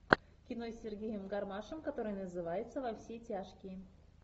кино с сергеем гармашем которое называется во все тяжкие